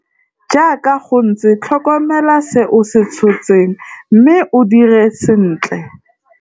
Jaaka go ntse tlhokomela se o se tshotseng mme o dire sentle.